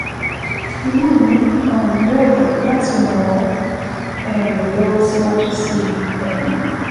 Inú mi um yóò dùn láti ràn ọ́ um lọ́wọ́ síwájú sí i um